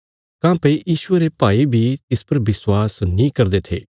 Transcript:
काँह्भई यीशुये रे भाई बी तिस पर विश्वास नीं करदे थे